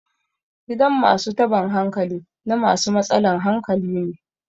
gidan masu taban hankali na masu matsalan hankali ne